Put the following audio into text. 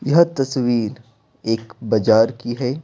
यह तस्वीर एक बजार की है।